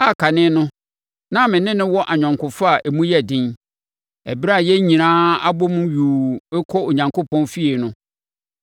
a kane no na me ne no wɔ ayɔnkofa a emu yɛ den ɛberɛ a yɛn nyinaa abɔ mu yuu rekɔ Onyankopɔn fie no.